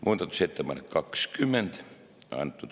Muudatusettepanek nr 20.